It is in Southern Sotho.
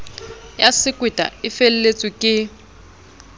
ya sekweta e felletsweng ke